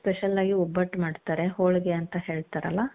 special ಆಗಿ ಒಬ್ಬಟ್ಟು ಮಾಡ್ತಾರೆ ಹೋಳಿಗೆ ಅಂತ ಹೇಳ್ತಾರಲ್ಲ .